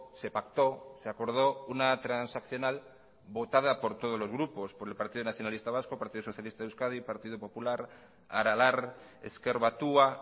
se pactó se acordó una transaccional votada por todos los grupos por el partido nacionalista vasco partido socialista de euskadi partido popular aralar ezker batua